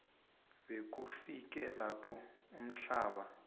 bekufike lapho uhlamba